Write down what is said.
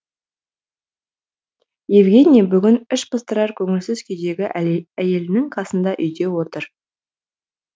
евгений бүгін іш пыстырар көңілсіз күйдегі әйелінің қасында үйде отыр